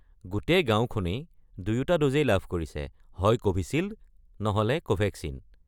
গোটেই গাঁওখনেই দুয়োটা ড'জেই লাভ কৰিছে, হয় ক'ভিছিল্ড নহলে ক'ভেক্সিন।